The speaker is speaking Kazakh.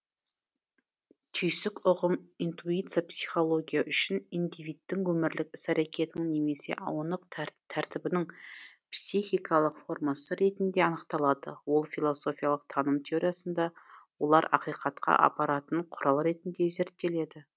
түйсік ұғым интуиция психология үшін индивидтің өмірлік іс әрекетінің немесе онық тәртібінің психикалық формасы ретінде анықталады ол философиялық таным теориясында олар ақиқатқа апаратын құрал ретінде зерттеледі